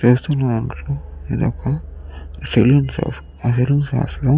చూస్తున్నాము ఇది ఒక సెల్లు షాపు . ఆ సెలూన్ షాప్ లో --